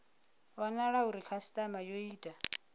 wanala uri khasitama yo ita